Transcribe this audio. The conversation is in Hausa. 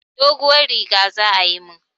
Doguwar riga za ayi mun.